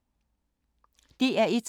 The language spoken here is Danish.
DR1